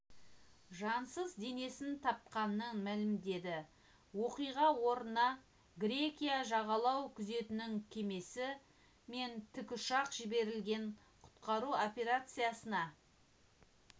жансыз денесін тапқанын мәлімдеді оқиға орнына грекия жағалау күзетінің кемесі мен тікұшақ жіберілген құтқару операциясына